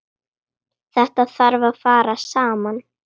Þetta þarf að fara saman.